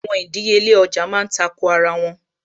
Àwọn ìdíyelé ọjà má ń tako ara wọn